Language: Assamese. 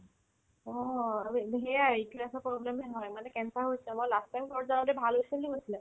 অ, আৰু এইটো সেয়াই uterus ৰ problem য়ে হয় মানে cancer ৰ হৈছে মই last time প্ৰৰ্জাতো ভাল হৈছে বুলি কৈছিলে